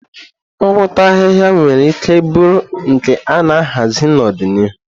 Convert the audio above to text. Ngwọta ahịhịa nwere ike bụrụ nke a na-ahazi n'ọdịnihu.